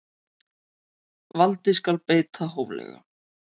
Valdi skal beita hóflega.